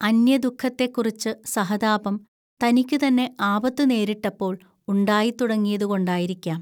അന്യദുഃഖത്തെക്കുറിച്ച് സഹതാപം, തനിക്കുതന്നെ ആപത്തു നേരിട്ടപ്പോൾ ഉണ്ടായിത്തുടങ്ങിയതുകൊണ്ടായിരിക്കാം